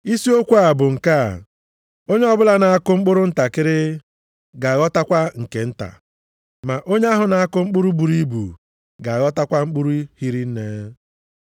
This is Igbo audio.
Isi okwu bụ nke a, Onye ọbụla na-akụ mkpụrụ ntakịrị, ga-aghọtakwa nke nta, ma onye ahụ na-akụ mkpụrụ buru ibu ga-aghọtakwa mkpụrụ hiri nne.